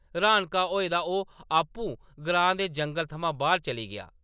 रन्हाका होए दा ओह्‌‌ आपूं ग्रां दे जंगल थमां बाह्‌र चली गेआ ।